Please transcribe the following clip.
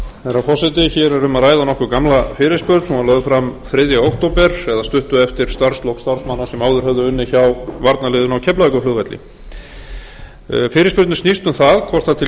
ræða nokkuð gamla fyrirspurn hún var lögð fram þriðja október eða stuttu eftir starfslok starfsmanna sem áður höfðu unnið hjá varnarliðinu á keflavíkurflugvelli fyrirspurnin snýst um